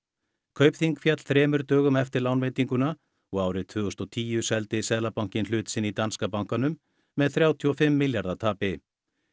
Kaupþing féll þremur dögum eftir lánveitinguna og árið tvö þúsund og tíu seldi Seðlabankinn hlut sinn í danska bankanum með þrjátíu og fimm milljarða tapi